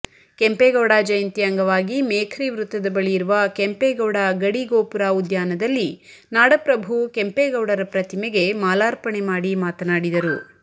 ಕೆಂಪೇಗೌಡ ಜಯಂತಿ ಅಂಗವಾಗಿ ಮೇಖ್ರಿ ವೃತ್ತದ ಬಳಿಯಿರುವ ಕೆಂಪೇಗೌಡ ಗಡಿಗೋಪುರ ಉದ್ಯಾನದಲ್ಲಿ ನಾಡಪ್ರಭು ಕೆಂಪೇಗೌಡರ ಪ್ರತಿಮೆಗೆ ಮಾಲಾರ್ಪಣೆ ಮಾಡಿ ಮಾತನಾಡಿದರು